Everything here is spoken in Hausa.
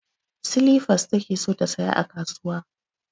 Silifas take so ta saya a kasuwa